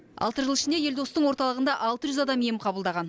алты жыл ішінде елдостың орталығында алты жүз адам ем қабылдаған